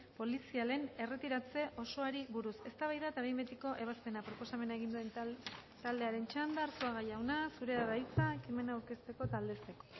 polizialen erretiratze osoari buruz eztabaida eta behin betiko ebazpena proposamen egin duen taldearen txanda arzuaga jauna zurea da hitza ekimena aurkezteko eta aldezteko